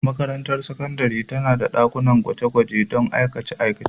Makarantar sakandare tana da dakunan gwaje-gwaje don aikace-aikace.